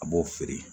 A b'o feere